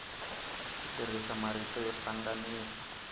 ku tirhisa marito yo hlanganisa